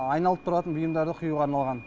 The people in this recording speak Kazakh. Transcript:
айналып тұратын бұйымдарды құюға арналған